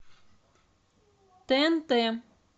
тнт